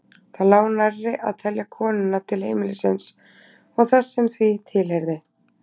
Það lá nærri að telja konuna til heimilisins og þess sem því tilheyrði.